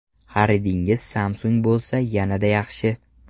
Xaridingiz Samsung bo‘lsa yanada yaxshi.